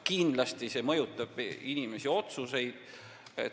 Kindlasti see mõjutab inimeste otsuseid.